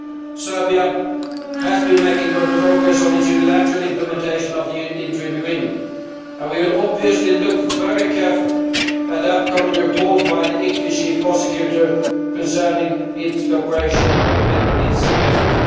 Serbia has been making good progress on its unilateral implementation of the interim agreement, and we will obviously look very carefully at the upcoming report by the ICTY Chief Prosecutor concerning its cooperation with its efforts.